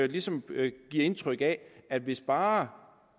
ligesom giver det indtryk at at hvis bare